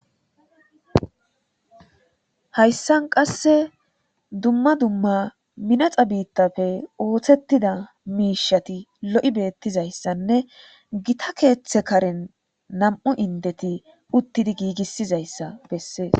hayssan qasse dumma dumma minaxa biittafe ooththettida miishati lo7i beettizayssanne gita keeththe karen nam7u indeti uttidi giigissizayssa bessees